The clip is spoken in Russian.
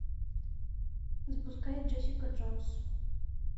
запускай джессика джонс